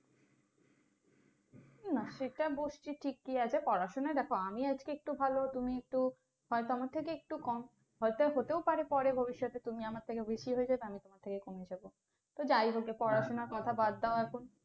না সেটা বসছি ঠিকই আছে, পড়াশোনায় দেখো আমি আজকে একটু ভালো, তুমি একটু হয়তো আমার থেকে একটু কম। হয়তো হতেও পারে পরে ভবিষ্যতে তুমি আমার থেকে বেশি হয়ে যাবে আমি তোমার থেকে কমে যাবো। তো যাই হোক পড়াশোনার কথা বাদ দাও এখন।